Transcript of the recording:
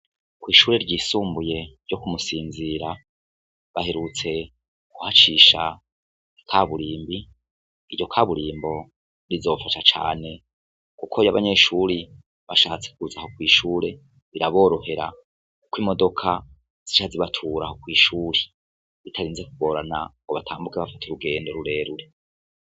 Kw'ishuri ryisumbuye ryo kumusinzira baherutse guhacisha ka burimbi iryo kaburimbo rizofasha cane, kuko ryabanyeshuri bashatsekuzaho kw'ishure biraborohera, kuko imodoka zica zibaturaho kw'ishuri ritarinze kugorana ngo batambuke bafate urugendo rureruri.